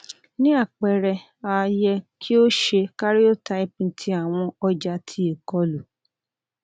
ni apẹrẹ a yẹ ki o ṣe karyotyping ti awọn ọja ti ikolu